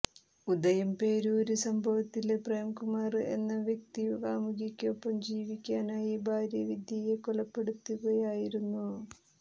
ഉദയംപേരൂര് സംഭവത്തില് പ്രേംകുമാര് എന്ന വ്യക്തി കാമുകിയ്ക്കൊപ്പം ജീവിക്കാനായി ഭാര്യ വിദ്യയെ കൊലപ്പെടുത്തുകയായിരുന്നു